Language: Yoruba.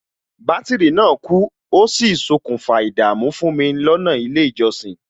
Bátìrì náà kú, ó sì ṣokùnfà ìdààmú fún mi lọ́nà ilé ìjọsìn